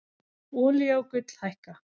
Olía og gull hækka